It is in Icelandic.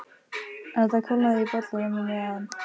En það kólnaði í bollanum á meðan